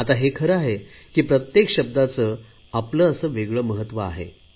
आता हे खरं आहे की प्रत्येक शब्दाचे आपले असे वेगळे महत्त्व आहे